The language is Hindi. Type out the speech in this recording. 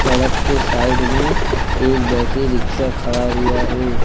सड़क के साइड में एक बैटरी रिक्शा खड़ा हुआ है।